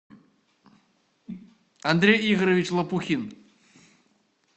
андрей игоревич лопухин